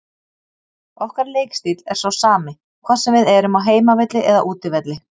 Okkar leikstíll er sá sami, hvort sem við erum á heimavelli eða útivelli.